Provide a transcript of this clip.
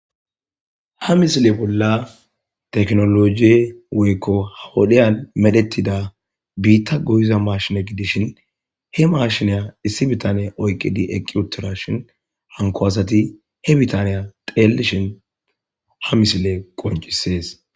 Ha misile bolla tekinolojey woykko ha wodiyan medhetida biita goyiya maashshiney dishin he mashiniya issi bitaney oyki eqi utida hanko asati tekenoloje woyko ha wodiyan medhetida bitta goyiza mashine gidishin he mashina issi bitane oyki eqi utidashin hanko asati he bitana xellishin he misiley qoncces